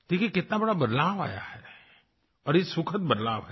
देखिए कितना बड़ा बदलाव आया है और ये सुखद बदलाव है